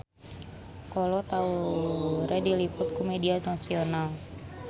Kolo Taure diliput ku media nasional